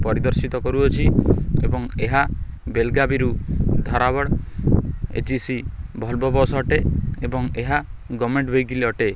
ପରିଦର୍ଶିତ କରୁଅଛି ଏବଂ ଏହା ବେଲଗାବିରୁ ଧରାବଡ଼ ଏ_ଜି_ସି ଭଲବ ବସ ଅଟେ। ଏବଂ ଏହା ଗମେଣ୍ଟ ଭେଇକିଲ ଅଟେ।